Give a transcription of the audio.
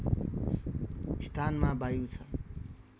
स्थानमा वायु छ